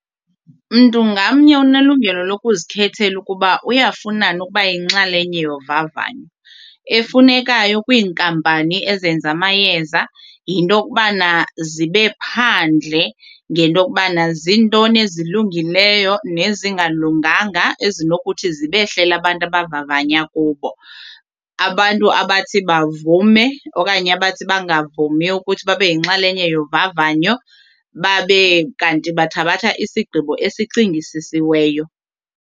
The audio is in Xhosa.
Mntu ngamnye unelungelo lokuzikhethela ukuba uyafuna na ukuba yinxalenye yovavanyo. Efunekayo kwiinkampani ezenza amayeza yinto yokubana zibe phandle ngento yokubana zintoni ezilungileyo nezingalunganga ezinokuthi zibehlele abantu abavavanya kubo. Abantu abathi bavume okanye abathi bangavumi ukuthi babe yinxalenye yovavanyo babe kanti bathabatha isigqibo esicingisisiweyo.